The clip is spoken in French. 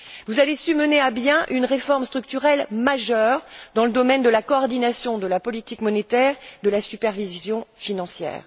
Vous avez su mener à bien une réforme structurelle majeure dans le domaine de la coordination de la politique monétaire, de la supervision financière.